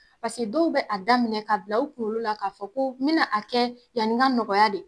Pase dɔw bɛ a daminɛ ka bila u kuŋolo la k'a fɔ ko n bɛna a kɛ yani ŋa nɔgɔya de.